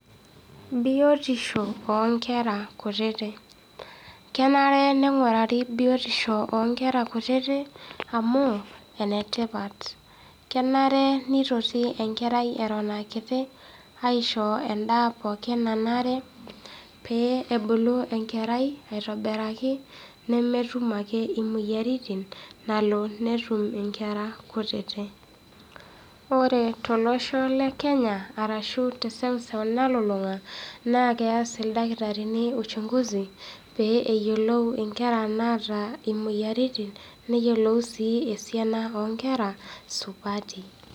Biotisho oo inkera kutiti. Kenare pee engurari biotisho oo nkera kutiti amu, enetipat. Kenare neitoti enkerai eton aa kiti aisho endaa pookin nanare pee ebulu enkerai aitobiraki nemetum ake imoyiaritin nalo netum inkera kutiti. Ore to losho le kenya arashu te seuseu nalulung'a naa keas ildakitarini uchunguzi pee eyiolou inkera naata imoyiaritin, neyiolou sii esiana oo nkera supati.